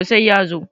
to sai ya zo